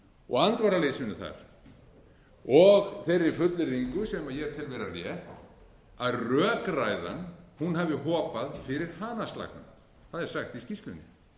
og andvaraleysinu þar og þeirri fullyrðingu sem ég tel vera rétta að rökræðan hafi hopað fyrir hanaslagnum það er sagt í skýrslunni